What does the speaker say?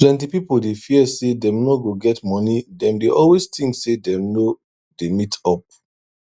plenty pipo dey fear say dem no go get money dem dey always think say dem no dey meet up